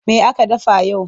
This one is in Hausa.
Me aka dafa yau?